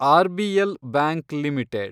RBL bank limited